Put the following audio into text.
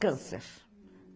Câncer.